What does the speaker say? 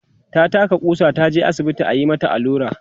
ta taka ƙusa, taje asibiti ayi mata Alura